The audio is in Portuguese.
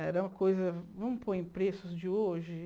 Era uma coisa... Vamos pôr em preços de hoje?